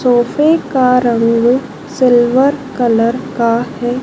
सोफे का रंग सिल्वर कलर का है।